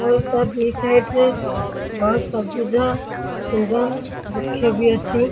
Boita the side ରେ ବ ସବୁଜ ସୁନ୍ଦର ବୃକ୍ଷ ବି ଅଛି।